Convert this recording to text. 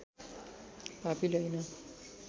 पापीले हैन